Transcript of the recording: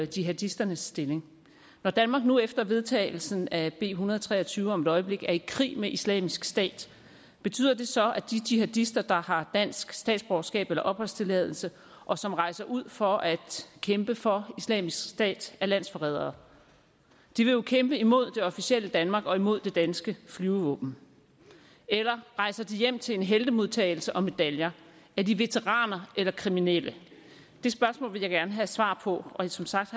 jihadisternes stilling når danmark nu efter vedtagelsen af en hundrede og tre og tyve om et øjeblik er i krig med islamisk stat betyder det så at de jihadister der har dansk statsborgerskab eller opholdstilladelse og som rejser ud for at kæmpe for islamisk stat er landsforrædere de vil jo kæmpe imod det officielle danmark og imod det danske flyvevåben eller rejser de hjem til en heltemodtagelse og medaljer er de veteraner eller kriminelle det spørgsmål vil jeg gerne have svar på og som sagt